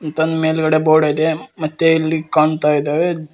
ಈತನ ಮೇಲ್ಗಡೆ ಬೋರ್ಡ್ ಇದೆ ಮತ್ತೆ ಇಲ್ಲಿ ಕಾಣ್ತಾಇದಾವೆ.